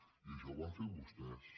i això ho van fer vostès